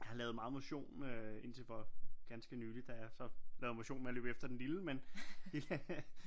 Jeg lavede motion øh indtil for ganske nylig da jeg så lavede motion med at løbe efter den lille men